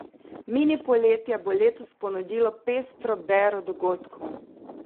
Mini poletje bo letos ponudilo pestro bero dogodkov.